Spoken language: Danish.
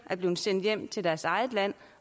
er blevet sendt hjem til deres eget land